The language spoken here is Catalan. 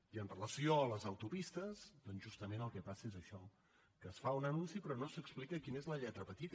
i amb relació a les autopistes doncs justament el que passa és això que es fa un anunci però no s’explica quina és la lletra petita